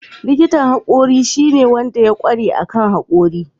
likitan hakori shine ne da suka ƙware akan haƙora.